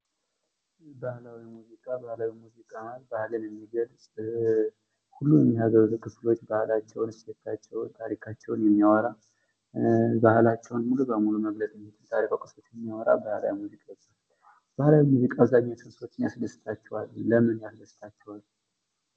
ባህላዊ ሙዚቃ ባህላዊ ሙዚቃ ማለት ባህልን የሚገልፅ ሁሉንም የሀገሩን ህዝቦች ባህላቸውን ታሪካቸውን ታሪካቸውን የሚያወራ ባህላቸውን ሙሉ በሙሉ መግለፅ የሚችል ባህላዊ ሙዚቃ ይባላል። ባህላዊ ሙዚቃ አብዛኛው ሰዎችን ያስደስታቸዋል። ለምን ያስደስታቸዋል።